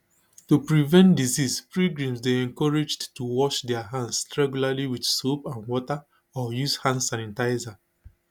to prevent disease pilgrims dey encouraged to wash dia hands regularly with soap and water or use hand sanitisers